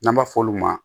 N'an b'a f'olu ma